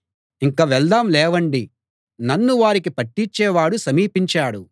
ఇంక వెళ్దాం లేవండి నన్ను వారికి పట్టిచ్చేవాడు సమీపించాడు